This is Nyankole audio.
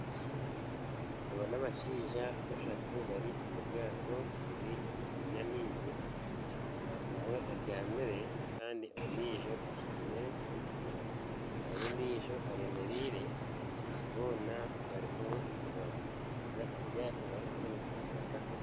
Aba n'abashaija bashatu bari omu ryato riri ahaiguru y'amaizi, omwe abyamire kandi ondiijo ashutamire reero ondiijo eyemereire boona barimu nibavuga eryato barikukoresa enkasi